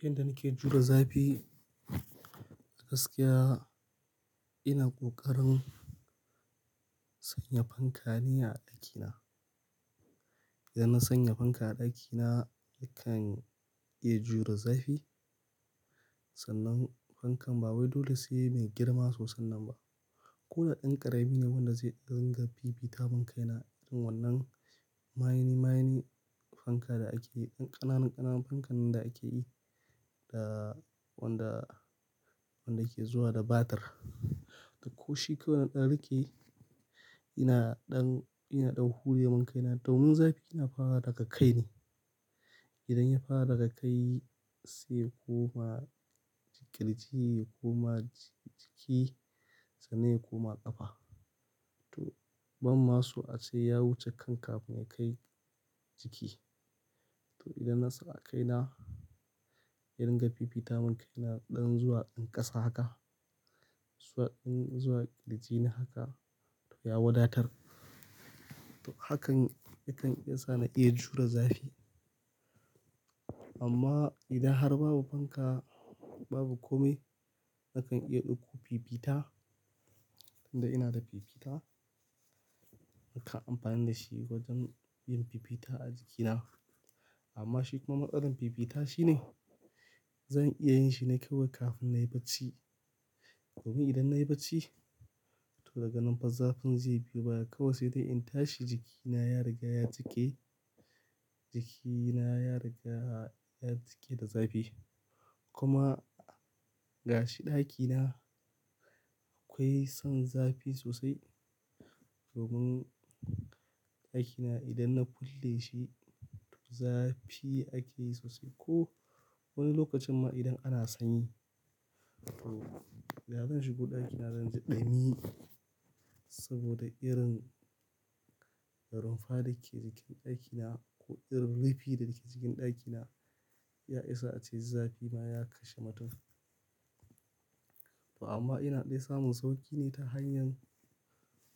Yanda nake jure zafi, gaskiya ina ƙoƙarin sanya fanka ne a ɗakina. Idan na sanya fanka a ɗakina yakan iya jure zafi, sannan fankan ba wai dole sai mai girma sosannan ba. Ko da ɗan ƙarami ne wanda zai dinga fifita mun kaina irin wannan mayeni-mayeni fanka da ake, yan ƙananu-ƙananun fankan nan da ake yi da wanda, wanda ke zuwa da batir. To ko shi kawai na ɗan rike ina ɗan, yana ɗan hure mun kaina domin zafi yana farawa daga kai ne. Idan ya fara daga kai sai ya koma kirji ya koma jiki sannan ya koma ƙafa. To ban ma so ace ya wuce kan kafin ya kai jiki. To idan na sa a kaina, ya ringa fifita mun kaina ɗan zuwa in ƙasa haka, zuwa in zuwa kirji na haka to ya wadatar. To hakan yakan iya sa na iya jure zafi. Amma idan har babu fanka, babu kome nakan iya ɗauko fifita. Tun da ina da fifita nakan amfani da shi wajen yin fifita a jikina. Amma shi kuma matsalan fifita shine zan iya yin shi ne kawai kafin na yi bacci. Domin idan na yi bacci to daga nan fa zafin zai fi baya. Kawai sai dai in tashi jikina ya riga ya cike, jikina ya riga ya cike da zafi. Kuma gashi ɗaki na akwai son zafi sosai. Domin ɗaki na idan na kulle shi zafi ake yi sosai ko wani lokacin ma idan ana sanyi. To idan zan shigo ɗaki na zan ji ɗumi saboda irin rumfa da ke cikin ɗaki na ko irin rufi da ke cikin ɗaki na ya isa ace zafi ma ya kashe mutum. To amma ina dai samun sauƙi ne ta hanyar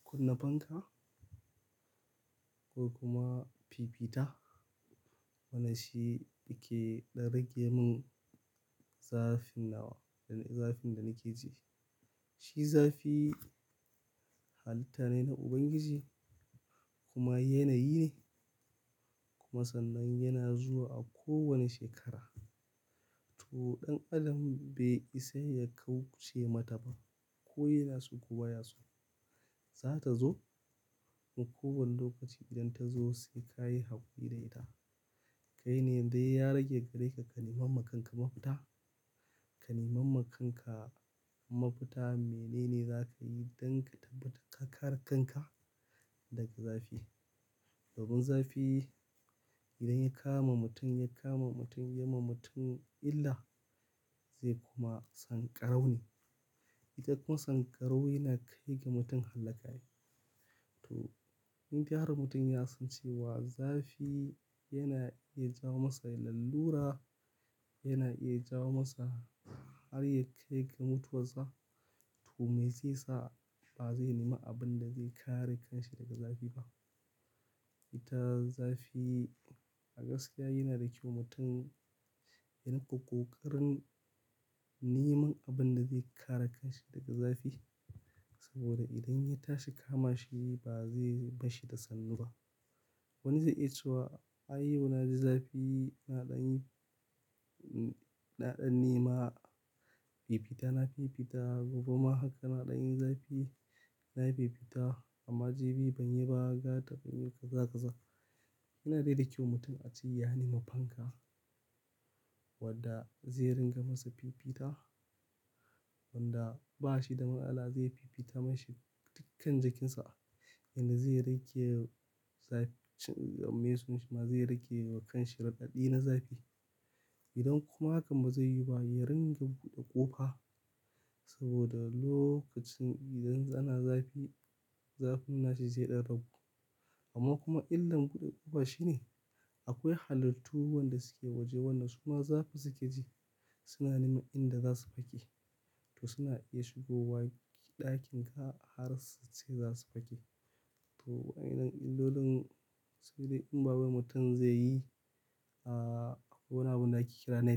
kunna fanka ko kuma fifita. Wannan shi yake ɗan rage mun zafin nawa, zafin da nake ji. Shi zafi halitta ne na Ubangiji kuma yanayi ne. Kuma sannan yana zuwa a kowane shekara. To ɗan adam bai isa ya kauce mata ba ko yana so ko baya so, za ta zo. In ko wane lokaci idan ta zo sai ka yi hakuri da ita. Kai ne dai ya rage gareka ka neman ma kanka mafita. Ke neman ma kanka mafita mene ne za ka yi don ka tabbatar ka kare kanka daga zafi. Domin zafi idan ya kama mutum, ya kama mutum, ya ma mutum illa zai koma sanƙarau ne. Ita kuma sanƙarau yana kai ga mutum hallaka ne. To indai har mutum ya san cewa zafi yana iya jawo masa lallura, yana iya jawo masa har ya kai ga mutuwar sa, to me zai sa ba zai nemi abin da zai kare kansa daga zafi ba? Ita zafi a gaskiya yanada kyau mutum ya rinka ƙoƙarin neman abin da zai kare kanshi daga zafi. Saboda idan ya tashi kama shi ba zai, mashi da sannu ba. Wani zai yi cewa ai yau na ji zafi ina ɗan yi, ina ɗan nema fifita. Na fifita gobe ma haka na ɗan yi zafi. Na yi fifita amma jibi ban yi ba har gata ban yi ba kaza kaza. Yana dai da kyau mutum a ce ya nemi fanka wadda zai ringa masa fifita, wanda ba shi da matsala zai fifita mashi dukkan jikinsa inda zai rage zafi. Me sunan shi ma? Zai rage wa kanshi radidi na zafi. Idan kuma hakan ba zai yiwu ba, ya ringa buɗe ƙofa. Saboda lokacin idan ana zafi, zafin nashi zai ɗan ragu. Amma kuma illan buɗe ƙofa shine akwai halittu wanda suke waje, wanda suma zafi suke ji. Suna neman inda za su fake to suna iya shigowa ɗakin ka har su ce za su fake to wa'innan illolin sai dai in ba wai mutum zai yi a akwai wani abun da ake kira net.